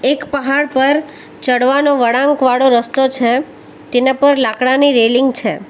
એક પહાડ પર ચડવાનો વળાંક વાળો રસ્તો છે તેના પર લાકડાની રેલિંગ છે.